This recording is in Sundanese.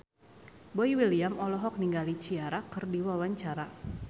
Boy William olohok ningali Ciara keur diwawancara